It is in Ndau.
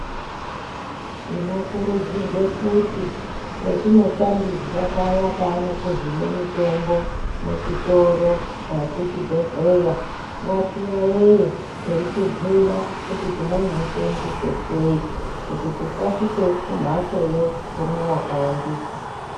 Tinokurudzirwe kuti petinotambidzwa paya paanokuhine mitombo muchitoro dani kuchibhedhlera, ngati yayeye eitibhuyira kuti tinonouseenzesa sei kuti tisasvike kumhatsoyo tomwa wakawandisa.